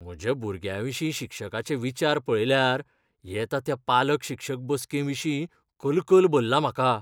म्हज्या भुरग्याविशीं शिक्षकाचे विचार पळयल्यार येता त्या पालक शिक्षक बसके विशीं कलकल भरला म्हाका.